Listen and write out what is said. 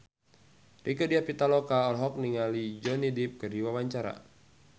Rieke Diah Pitaloka olohok ningali Johnny Depp keur diwawancara